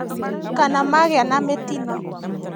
Kana magĩa na mĩtino